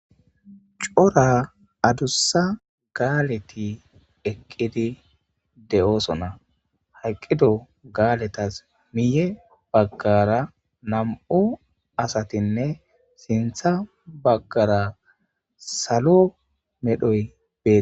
Cora adussa gaaleti eqqidi de;oosona hayqqido gaaletas miye baggara nam'u asatinne sintha baggara salo medhoy be.